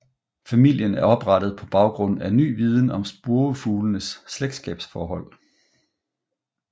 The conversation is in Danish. Familien er oprettet på baggrund af ny viden om spurvefuglenes slægtskabsforhold